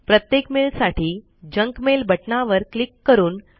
प्रत्येक मेल साठी junk mail बटनावर क्लिक करून